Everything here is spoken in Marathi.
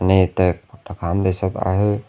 मी इथ कुठ खानदेशात आहे.